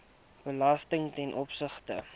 belasting ten opsigte